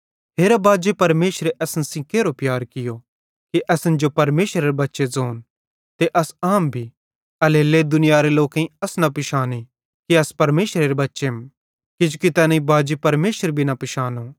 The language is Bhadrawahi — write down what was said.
हेरा बाजे परमेशरे असन सेइं केरो प्यार कियो कि असन जो परमेशरेरे बच्चे ज़ोंन ते अस अहम भी एल्हेरेलेइ दुनियारे लोकेईं अस न पिशाने कि अस परमेशरेरे बच्चेम किजोकि तैनेईं बाजी परमेशर भी न पिशानो